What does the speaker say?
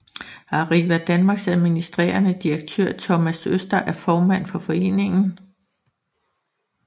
Arriva Danmarks administrerende direktør Thomas Øster er formand for foreningen